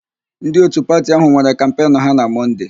Ndị òtù pati áhụ̀ nwere kampenụ ha na Mọnde.